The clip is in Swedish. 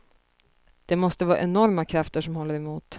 Det måste vara enorma krafter som håller emot.